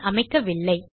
இல் அமைக்கவில்லை